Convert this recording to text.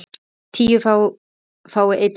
tíu fái einn hver